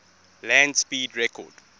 land speed record